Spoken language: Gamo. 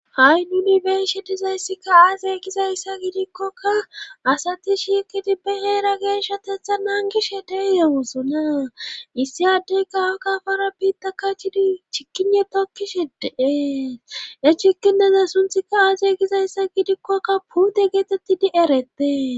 Ha'i nuni benshe dizayssika aase gizayssa gidikkokka asati shiikidibbe heera geeshshatetha naangishe de yeewozonaa issi adey kawo kafara biitta kachidi chikine tokkishideee e chikineze sunthika aasey gizayssa gidikkokka puute geetettidi eretee